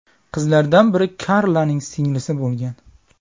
Qizlardan biri Karlaning singlisi bo‘lgan.